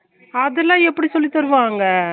அதுல எப்புடி சொல்லிதருவாங்க